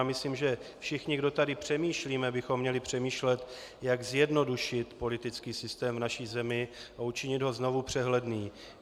A myslím, že všichni, kdo tady přemýšlíme, bychom měli přemýšlet, jak zjednodušit politický systém v naší zemi a učinit ho znovu přehledným.